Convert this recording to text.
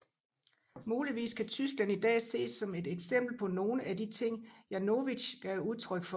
Muligvis kan Tyskland i dag ses som et eksempel på nogle af de ting Janowitz gav udtryk for